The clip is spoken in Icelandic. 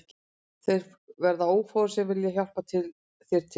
Og þeir verða ófáir sem vilja hjálpa þér til